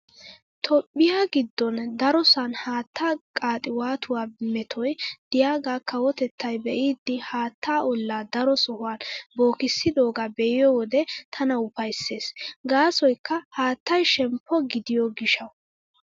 Toophphiyaa giddon darosan haattaa qaxiwatuwaa metoy diyaagaa kawotettay be'idi haattaa ollaa daro sohuwan bookissidoogaa be'iyo wode tana ufayssees. Gaasoykka haattay shemppo gidiyo gishshawu.